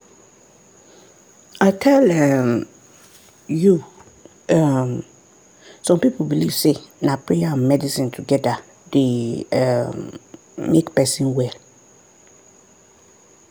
i tell um you! um some people believe say na prayer and medicine together dey um make person well.